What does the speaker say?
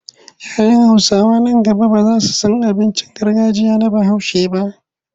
Ya 'yan Hausawa nan gaba ba za su san abincin gargajiya na Bahaushe ba.